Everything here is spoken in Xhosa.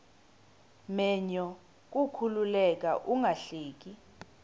menyo kukuleka ungahleki